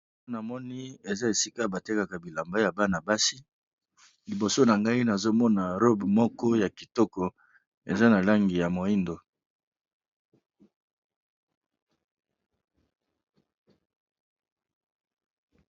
a na moni eza esika batekaka bilamba ya bana-basi liboso na ngai nazomona robe moko ya kitoko eza na langi ya moindo